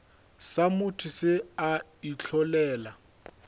sa motho se a itlholela